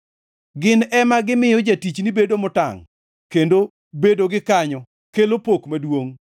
Gin ema gimiyo jatichni bedo motangʼ; kendo bedogi kanyo kelo pok maduongʼ.